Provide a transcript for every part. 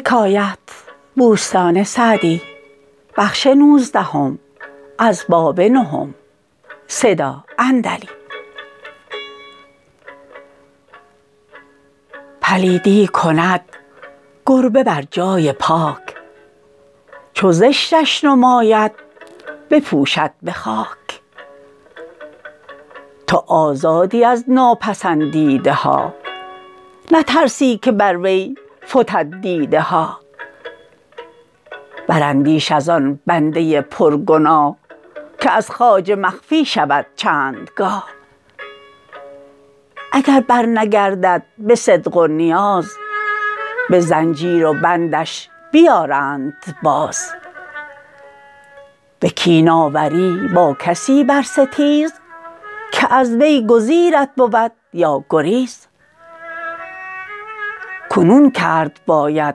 پلیدی کند گربه بر جای پاک چو زشتش نماید بپوشد به خاک تو آزادی از ناپسندیده ها نترسی که بر وی فتد دیده ها براندیش از آن بنده پرگناه که از خواجه مخفی شود چند گاه اگر برنگردد به صدق و نیاز به زنجیر و بندش بیارند باز به کین آوری با کسی برستیز که از وی گزیرت بود یا گریز کنون کرد باید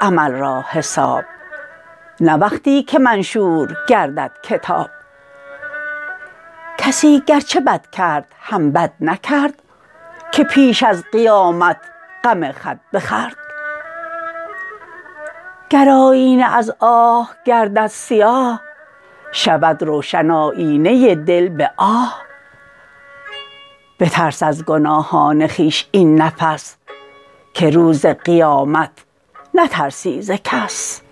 عمل را حساب نه وقتی که منشور گردد کتاب کسی گرچه بد کرد هم بد نکرد که پیش از قیامت غم خود بخورد گر آیینه از آه گردد سیاه شود روشن آیینه دل به آه بترس از گناهان خویش این نفس که روز قیامت نترسی ز کس